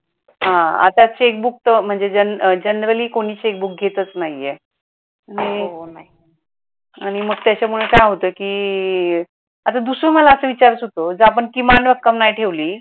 हा, आता checkbook तर म्हणजे गेनेराल्ल्य कोणी आता checkbook घेतच नाही आहे. आणि मग त्याच्यामुळे काय होतं कि आता दुसर मला असं विचारायचं होतं कि जर आपण किमान रक्कम नाही ठेवली